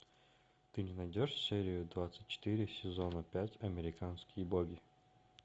ты мне найдешь серию двадцать четыре сезона пять американские боги